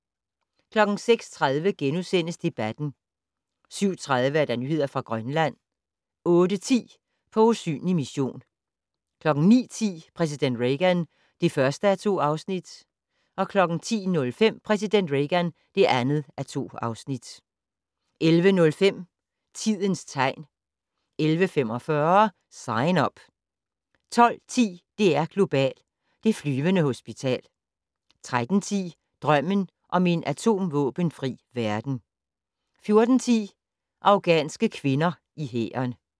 06:30: Debatten * 07:30: Nyheder fra Grønland 08:10: På usynlig mission 09:10: Præsident Reagan (1:2) 10:05: Præsident Reagan (2:2) 11:05: Tidens tegn 11:45: Sign Up 12:10: DR2 Global: Det flyvende hospital 13:10: Drømmen om en atomvåbenfri verden 14:10: Afghanske kvinder i hæren